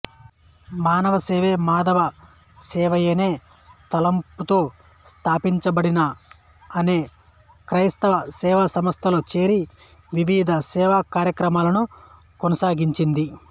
మానవసేవే మాధవ సేవయనే తలంపుతో స్థాపించబడిన అనే కైస్తవ సేవాసంస్థలో చేరి వివిధ సేవా కార్యక్రమాలను కొనసాగించింది